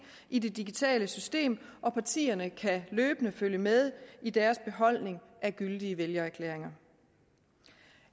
i det digitale system og partierne kan løbende følge med i deres beholdning af gyldige vælgererklæringer